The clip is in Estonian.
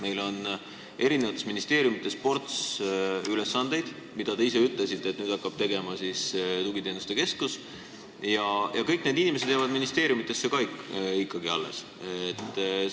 Meil on erinevates ministeeriumides ports ülesandeid, mida hakkab nüüd täitma tugiteenuste keskus, nagu te ise ütlesite, aga kõik inimesed jäävad ministeeriumidesse alles.